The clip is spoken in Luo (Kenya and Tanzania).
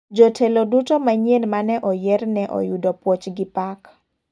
Jotelo duto manyien mane oyier ne oyudo puoch gi pak.